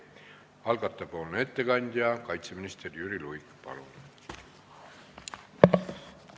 Algataja ettekandja kaitseminister Jüri Luik, palun!